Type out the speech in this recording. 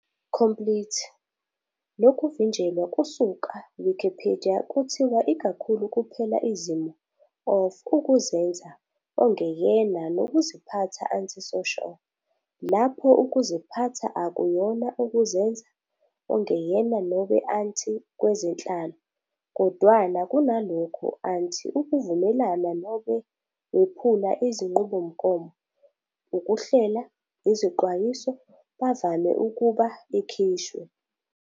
Complete nokuvinjelwa kusuka Wikipedia kuthiwa ikakhulu kuphela izimo of ukuzenza ongeyena nokuziphatha anti-social. Lapho ukuziphatha akuyona ukuzenza ongeyena nobe anti-kwezenhlalo, kodwana kunalokho anti-ukuvumelana nobe wephula izinqubomgomo ukuhlela, izixwayiso bavame ukuba ikhishwe.